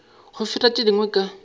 go feta tše dingwe ka